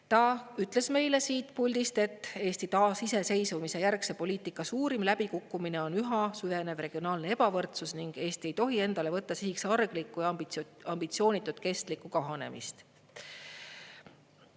Ta ütles meile siit puldist, et Eesti taasiseseisvumise järgse poliitika suurim läbikukkumine on üha süvenev regionaalne ebavõrdsus ning Eesti ei tohi endale võtta sihiks arglikku ja ambitsioonitut kestlikku kahanemist.